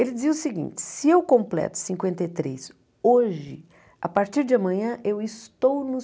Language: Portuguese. Ele dizia o seguinte, se eu completo cinquenta e três hoje, a partir de amanhã eu estou no